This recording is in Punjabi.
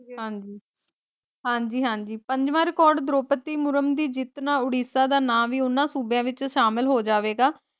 ਹਾਂਜੀ ਹਾਂਜੀ-ਹਾਂਜੀ ਪੰਜਵਾਂ ਰਿਕੋਰਡ ਦ੍ਰੋਪਦੀ ਮੁਰੂਮ ਦੀ ਜਿੱਤ ਨਾਲ ਉੜੀਸਾ ਦਾ ਨਾ ਵੀ ਉੰਨਾ ਸੂਬਿਆਂ ਵਿਚ ਸ਼ਾਮਿਲ ਹੋ ਜਾਏਗਾ।